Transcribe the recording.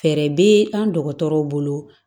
Fɛɛrɛ bɛ an dɔgɔtɔrɔw bolo